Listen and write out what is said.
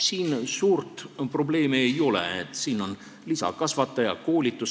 Siin suurt probleemi ei ole, on vaja lisakasvatajaid ja koolitust.